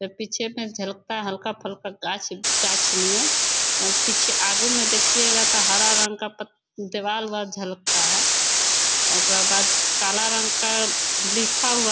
पीछे मे झलकता हल्का फल्का गाछ गाछ नियन। ओकरा में पीछे आगो में देखिये गा त हरा रंग का पत दिवाल उवाल झलकता है अ ओकरा बाद काला रंग का लिखा हुआ --